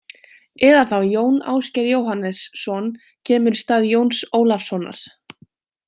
Eða þá Jón Ásgeir Jóhannesson kemur í stað Jóns Ólafssonar.